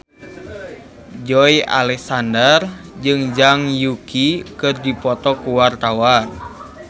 Joey Alexander jeung Zhang Yuqi keur dipoto ku wartawan